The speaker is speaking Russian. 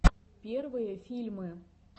первые фильмы